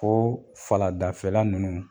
O faladafɛla ninnu